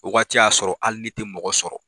O wagati y'a sɔrɔ hali ne tɛ mɔgɔ sɔrɔ